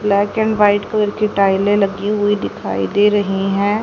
Black and white colour की टाइलें लगी हुई दिखाई दे रही हैं।